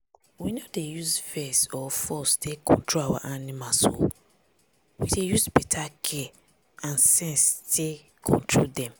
we no dey use vex or force take control our animals o. we dey use beta care and sense take control dem.